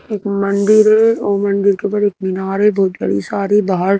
एक मंदिर है और मंदिर के ऊपर एक मीनार है बहुत बड़ी सारी बाहर--